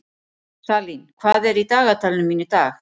Salín, hvað er í dagatalinu mínu í dag?